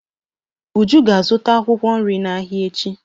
Uju ga-azụta akwụkwọ nri n'ahịa echi.